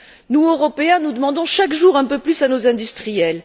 Nous, Européens, nous demandons chaque jour un peu plus à nos industriels.